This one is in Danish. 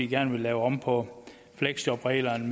gerne vil lave om på fleksjobreglerne